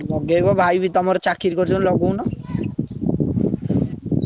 ହଁ ଲଗେଇବ ଭାଇ ବି ତମର ଚାକିରି କରିଛନ୍ତି ଲଗଉନ।